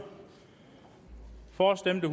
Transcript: for stemte